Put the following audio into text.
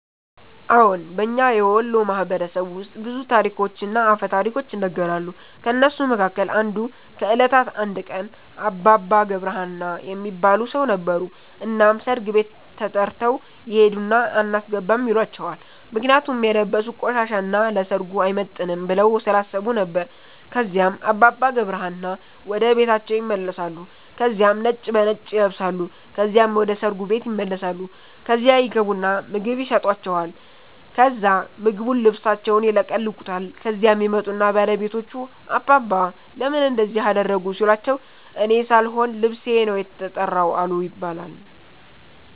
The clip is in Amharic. አዎን። በእኛ የወሎ ማህበረሰብ ውስጥ ብዙ ታሪኮችና አፈ ታሪኮች ይነገራሉ። ከእነሱ መካከል አንዱ ከእለታት አንድ ቀን አባባ ገብረ ሀና የሚባል ሠው ነበሩ። እናም ሠርግ ቤት ተተርተው ይሄድና አናስገባም ይሏቸዋል ምክንያቱም የለበሡት ቆሻሻ እና ለሠርጉ አይመጥንም ብለው ስላሠቡ ነበር። ከዚያም አባባ ገብረ ሀና ወደ ቤታቸው ይመለሳሉ ከዚያም ነጭ በነጭ ይለብሳሉ ከዚያም ወደ ሠርጉ ቤት ይመለሳሉ። ከዚያ ይገቡና ምግብ የሠጣቸዋል ከዛ ምግቡን ልብሣቸውን ይለቀልቁታል። ከዚያም ይመጡና ባለቤቶቹ አባባ ለምን እንደዚህ አደረጉ ሲሏቸው እኔ ሣልሆን ልብሤ ነው የተራው አሉ ይባላል።